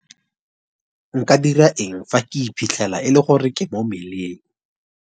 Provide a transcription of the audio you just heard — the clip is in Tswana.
Nka dira eng fa ke iphitlhela e le gore ke mo mmeleng?